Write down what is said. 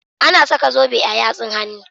Ana saka zobe a yatsun hannu.